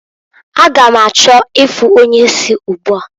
A ga m achọ ịfụ onye isi ugbua.